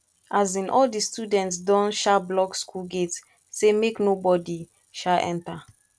um all di students don um block skool gate sey make nobodi um enta